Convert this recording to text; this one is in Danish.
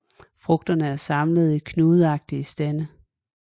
Frugterne er samlet i knudeagtige stande